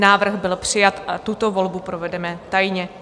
Návrh byl přijat a tuto volbu provedeme tajně.